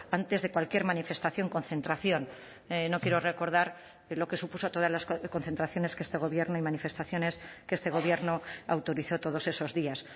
antes de cualquier manifestación concentración no quiero recordar lo que supuso todas las concentraciones que este gobierno y manifestaciones que este gobierno autorizó todos esos días